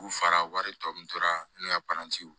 U fara wari tɔ min tora ne ka para ci